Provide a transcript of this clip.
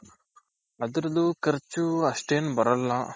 ಅದ್ರುದ್ದು ಖರ್ಚು ಅಷ್ಟೇನ್ ಬರಲ್ಲ.